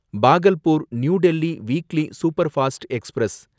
Bhagalpur New Delhi weekly superfast express